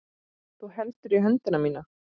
Þú heldur í höndina mína.